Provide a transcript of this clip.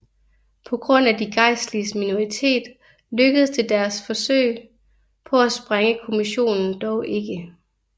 På grund af de gejstliges minoritet lykkedes deres forsøg på at sprænge kommissionen dog ikke